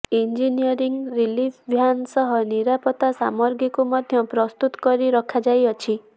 engineering relief van ସହ ନିରାପତା ସାମଗ୍ରୀକୁ ମଧ୍ୟ ପ୍ରସ୍ତୁତ କରି ରଖାଯାଇଅଛି